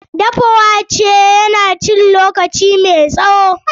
Dafa wake na cin lokaci mai tsawo.